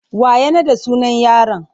Wa ya naɗa sunan yaron?